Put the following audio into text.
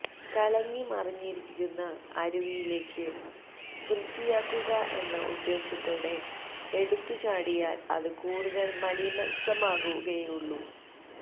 കലങ്ങി മറിഞ്ഞിരിക്കുന്ന അരുവിയിലേക്ക് വൃത്തിയാക്കുക എന്ന ഉദ്ദേശ്യത്തോടെ എടുത്തുചാടിയാൽ അത് കൂടുതൽ മലീമസമാവുകയേ ഉള്ളൂ